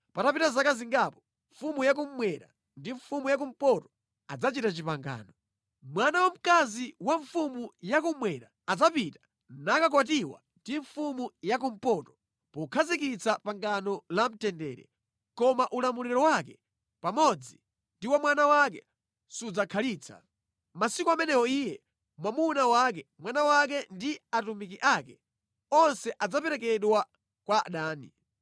Patapita zaka zingapo, mfumu ya kummwera ndi mfumu ya kumpoto adzachita pangano. Mwana wamkazi wa mfumu ya kummwera adzapita nakakwatiwa ndi mfumu ya kumpoto pokhazikitsa pangano la mtendere, koma ulamuliro wake pamodzi ndi wa mwana wake sudzakhalitsa. Mʼmasiku amenewo iye, mwamuna wake, mwana wake ndi atumiki ake, onse adzaperekedwa kwa adani.